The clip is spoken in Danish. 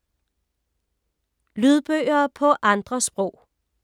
Lydbøger på andre sprog